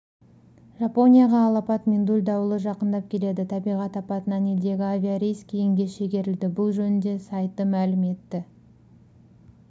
жапонияға алапат миндуль дауылы жақындап келеді табиғатапатынан елдегі авиарейс кейінге шегерілді бұл жөнінде сайты мәлім етті